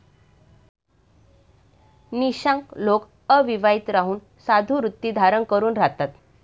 निशांग लोक अविवाहित राहून साधुवृत्ती धारण करून राहतात ।